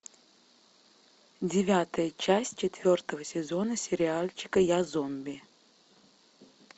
девятая часть четвертого сезона сериальчика я зомби